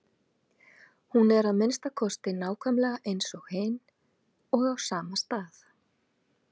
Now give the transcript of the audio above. Hún er að minnsta kosti nákvæmlega eins og hin og á sama stað.